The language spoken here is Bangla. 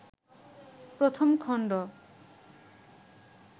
১ম খণ্ড